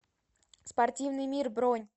спортивный мир бронь